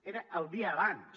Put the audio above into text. era el dia abans